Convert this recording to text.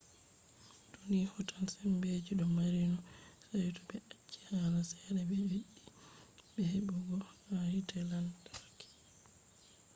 to ni hotan sembe je ɗum mari no saito ɓe acci hala ceede ɓe ɓeddi heɓugo ha hite lantarki